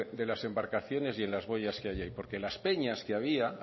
de las embarcaciones y en las boyas que allí hay porque las peñas que había